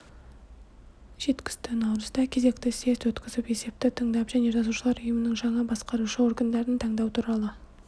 жеткізді наурызда кезекті съезд өткізіп есепті тыңдап және жазушылар ұйымының жаңа басқарушы органдарын таңдау туралы